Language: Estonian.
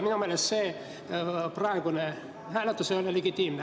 Minu meelest ei olnud praegune hääletus legitiimne.